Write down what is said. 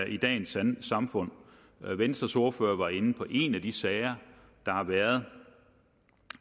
i dagens samfund venstres ordfører var inde på en af de sager der har været